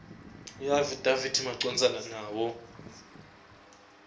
iafidavithi macondzana nawo